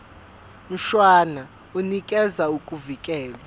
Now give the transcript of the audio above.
mshwana unikeza ukuvikelwa